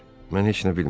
Mən heç nə bilmirəm.